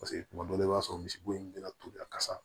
Paseke kuma dɔ la i b'a sɔrɔ misibo in bɛna tobi a kasa